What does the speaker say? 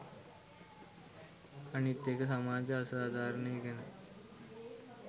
අනිත් එක සමාජ අසාධාරණය ගැන